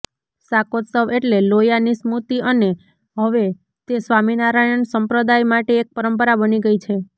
શાકોત્સવ એટલે લોયાની સ્મૃતિ અને હવે તે સ્વામિનારાયણ સંપ્રદાય માટે એક પરંપરા બની ગઇ છે